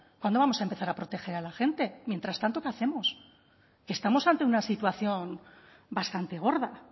cuándo vamos a empezar a proteger a la gente mientras tanto qué hacemos estamos ante una situación bastante gorda